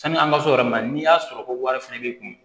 Sani an ka se o yɔrɔ ma n'i y'a sɔrɔ ko wari fɛnɛ b'i kun